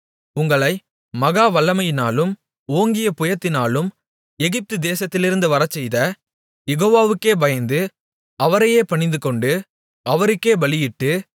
உங்களை மகா வல்லமையினாலும் ஓங்கிய புயத்தினாலும் எகிப்து தேசத்திலிருந்து வரச்செய்த யெகோவாவுக்கே பயந்து அவரையே பணிந்துகொண்டு அவருக்கே பலியிட்டு